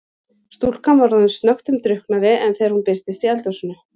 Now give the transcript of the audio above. Stúlkan var orðin snöggtum drukknari en þegar hún birtist í eldhúsinu.